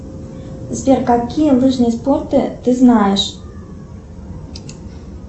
сбер какие лыжные спорты ты знаешь